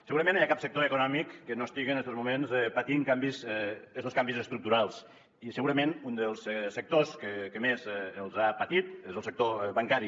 segurament no hi ha cap sector econòmic que no estigui en estos moments patint canvis estos canvis estructurals i segurament un dels sectors que més els ha patit és el sector bancari